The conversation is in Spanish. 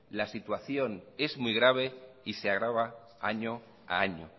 la situación es muy grave y se agrava año a año